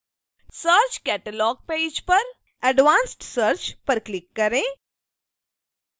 search catalog page पर advanced search पर click करें